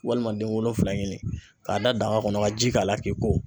Walima den wolonfila ɲini k'a da daga kɔnɔ ka ji k'a la k'i ko.